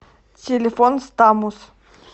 телефон стамус